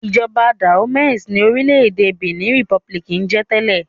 Ìjọba Dahomey ni orílẹ̀-èdè Benin Republic ń jẹ tẹ́lẹ̀.